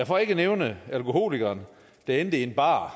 for ikke at nævne alkoholikeren der endte i en bar